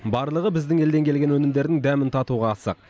барлығы біздің елден келген өнімдердің дәмін татуға асық